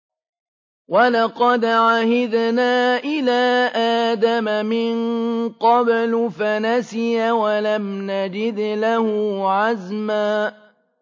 وَلَقَدْ عَهِدْنَا إِلَىٰ آدَمَ مِن قَبْلُ فَنَسِيَ وَلَمْ نَجِدْ لَهُ عَزْمًا